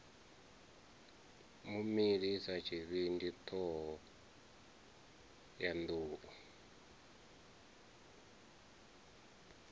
mu milisa tshivhindi thohoyanḓ ou